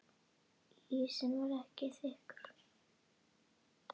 Ísinn var ekki þykkur.